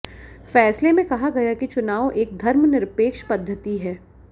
फैसले में कहा गया कि चुनाव एक धर्मनिरपेक्ष पद्धति है